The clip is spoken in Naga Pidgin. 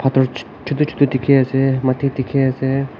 turch chotu chotu dikhi ase moti dikhi ase.